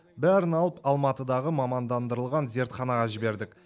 бәрін алып алматыдағы мамандандырылған зертханаға жібердік